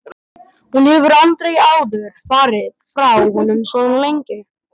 Hún hefur aldrei áður farið frá honum svona lengi.